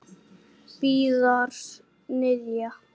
Víðars niðja.